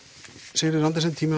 Sigríður Andersen tíminn